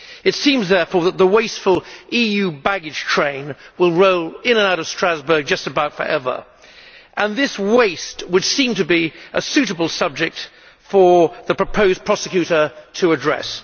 It seems therefore that the wasteful EU baggage train will roll in and out of Strasbourg just about forever, and this waste would seem to be a suitable subject for the proposed prosecutor to address.